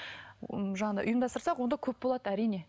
м жаңағыдай ұйымдастырсақ онда көп болады әрине